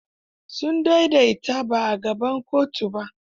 Sun daidaita ba a gaban kotun ba?